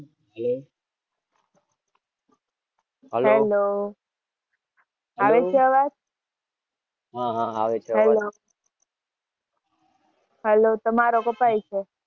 Hello આવે છે અવાજ?